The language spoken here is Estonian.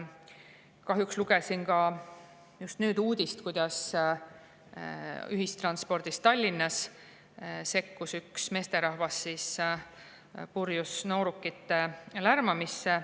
Kahjuks lugesin just nüüd uudist, kuidas Tallinnas ühistranspordis sekkus üks meesterahvas purjus noorukite lärmamisse.